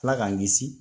Ala k'an kisi